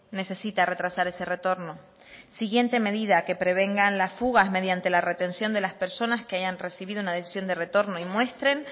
necesita retrasar ese retorno siguiente medida que prevengan las fugas mediante la retención de las personas que hayan recibido una decisión de retorno y muestren